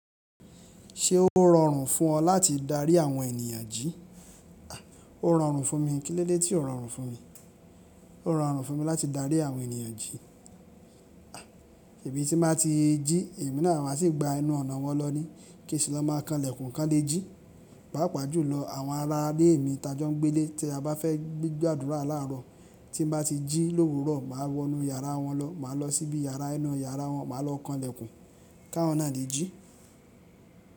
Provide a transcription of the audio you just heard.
Ṣé ó rọrùn fún ọ láti darí àwọn ènìyàn jí? O rọrùn fún mi, kílódé tí o rọrùn fún mi. O rọrùn fún mi láti darí àwọn ènìyàn jí. Ṣebí tí má ti jí, èmi náà máa ṣì gba inú ọ̀nà wọn lọ ní, kí sì lọ má kan ìlẹ̀kùn kan lé jí. Pàápàá jùlọ, àwọn aralè mi tajọ́ ń gbélé tí a bá fẹ́ gbé gbàdúrà láàrọ̀. Tí n bá ti jí lówùrọ̀, màá wọ inú yàrá wọn lọ, màá lọ síbi yàrá inú yàrá wọn, màá lọ kan ìlẹ̀kùn káwon nà lé jí.